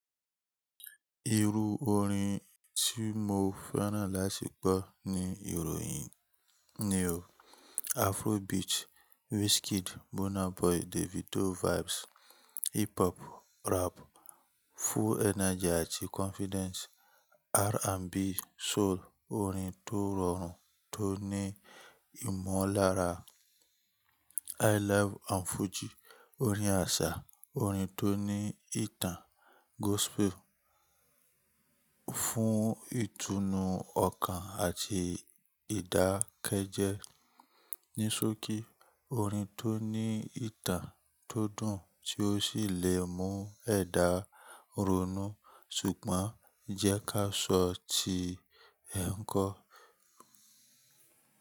Iru orin tí mo fẹ́ràn láti gbọ́ ni ìròyìn ni o, Afrobeat, Wizkid, Burna Boy, Davido vibes, hip hop, rap, full energy àti confidence, R&B, soul, orin tó rọrùn tó ní ìmọ̀lára, highlife and Fuji, orin àṣà, orin tó ní ìtàn, gospel fún ìtùnú ọkàn àti ìdákẹ́jẹ́, níṣokí orin tó ní ìtàn tó dùn tí ó sì lè mú ẹ̀dá ronú ṣùgbọ́n jẹ́ ká sọ tí ẹ ń kọ.